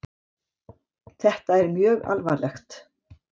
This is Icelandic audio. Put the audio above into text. Þetta er mjög alvarlegt.